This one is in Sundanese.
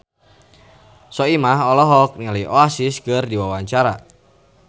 Soimah olohok ningali Oasis keur diwawancara